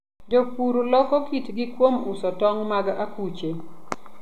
Jopur loko kitgi kuom uso tong' mag akuche.